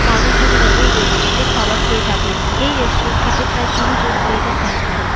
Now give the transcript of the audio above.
মানুষ জনেরা এই রেস্টুরেন্টে -এ খাবার খেয়ে থাকেন। এই রেস্টুরেন্ট - টিতে প্রায় কুড়ি জন ওয়েটার কাজ করেন।